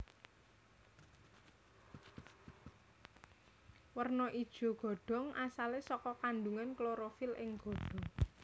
Werna ijo godhong asalé saka kandhungan klorofil ing godhong